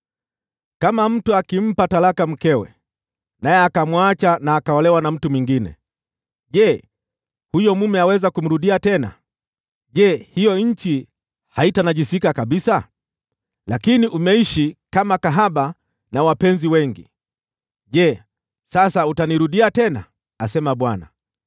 “Kama mtu akimpa talaka mkewe, naye akamwacha na akaolewa na mtu mwingine, je, huyo mume aweza kumrudia tena? Je, hiyo nchi haitanajisika kabisa? Lakini umeishi kama kahaba na wapenzi wengi: je, sasa utanirudia tena?” asema Bwana .